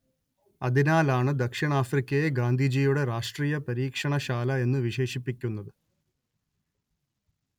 അതിനാലാണ് ദക്ഷിണാഫ്രിക്കയെ ഗാന്ധിജിയുടെ രാഷ്ട്രീയ പരീക്ഷണ ശാല എന്നു വിശേഷിപ്പിക്കുന്നത്